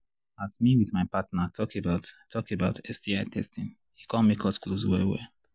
as me with my partner talk about talk about sti testing e come make us close well well